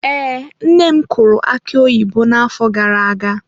Ee, nne m kụrụ aki oyibo n'afọ gara aga.